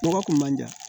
Nɔgɔ kun man di yan